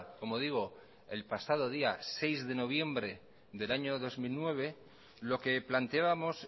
como digo el pasado día seis de noviembre del año dos mil nueve lo que planteábamos